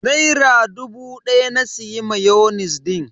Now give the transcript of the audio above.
Naira dubu daya na siya mayonis din.